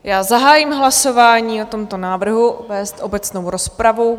Já zahájím hlasování o tomto návrhu vést obecnou rozpravu.